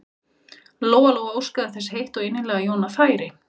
Lóa Lóa óskaði þess heitt og innilega að Jóna færi.